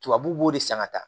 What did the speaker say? Tubabuw b'o de san ka taa